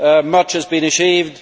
Much has been achieved.